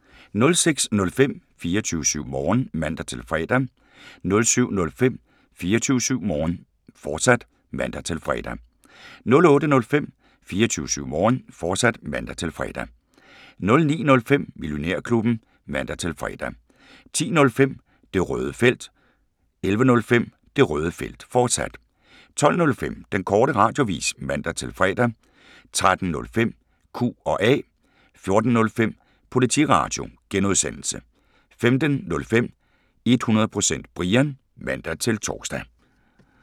06:05: 24syv Morgen (man-fre) 07:05: 24syv Morgen, fortsat (man-fre) 08:05: 24syv Morgen, fortsat (man-fre) 09:05: Millionærklubben (man-fre) 10:05: Det Røde Felt 11:05: Det Røde Felt, fortsat 12:05: Den Korte Radioavis (man-fre) 13:05: Q&A 14:05: Politiradio (G) 15:05: 100% Brian (man-tor)